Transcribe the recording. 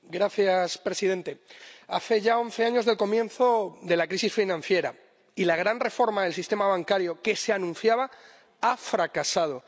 Señor presidente, hace ya once años del comienzo de la crisis financiera, y la gran reforma del sistema bancario que se anunciaba ha fracasado.